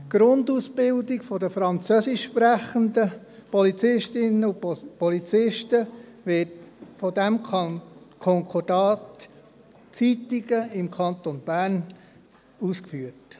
Die Grundausbildung der französischsprechenden Polizistinnen und Polizisten wird aufgrund dieses Konkordats in Ittigen, im Kanton Bern, durchgeführt.